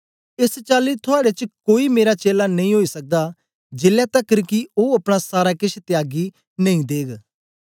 एस चाली थुआड़े च कोई मेरा चेला नेई ओई सकदा जेलै तकर कि ओ अपना सारा केछ त्यागी नेई देग